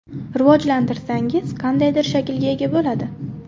Rivojlantirsangiz qandaydir shaklga ega bo‘ladi.